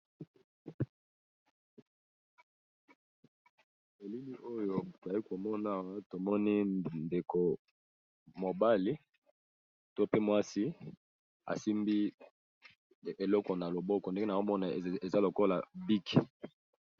Elili oyo oyi komona awa tomoni ndeko mobali to pe mwasi asimbi eloko na loboko ndenge na zomona eza lokola bike.